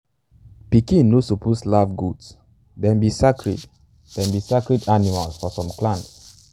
pikin no suppose laugh goats - them be sacred them be sacred animals for some clans.